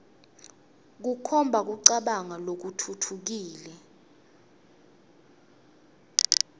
kukhomba kucabanga lokutfutfukile